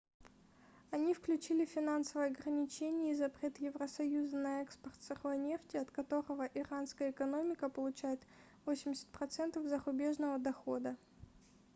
они включили финансовые ограничения и запрет евросоюза на экспорт сырой нефти от которого иранская экономика получает 80% зарубежного дохода